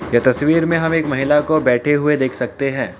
यह तस्वीर में हम एक महिला को बैठे हुए देख सकते हैं।